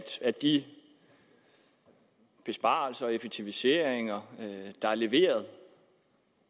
de besparelser og effektiviseringer der er leveret